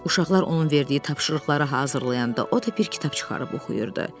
Uşaqlar onun verdiyi tapşırıqları hazırlayanda o da bir kitab çıxarıb oxuyurdu.